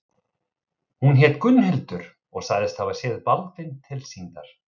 Hún hét Gunnhildur og sagðist hafa séð Baldvin tilsýndar.